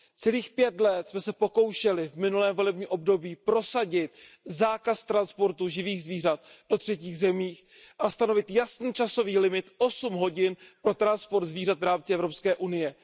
Celých pět let jsme se pokoušeli v minulém volebním období prosadit zákaz transportu živých zvířat do třetích zemí a stanovit jasný časový limit osm hodin pro transport zvířat v rámci Evropské unie.